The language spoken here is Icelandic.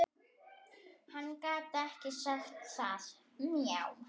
Hann gat ekki sagt það.